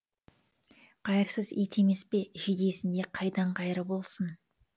қайырсыз ит емес пе жидесінде қайдан қайыр болсын